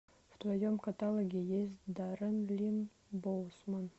в твоем каталоге есть даррен линн боусман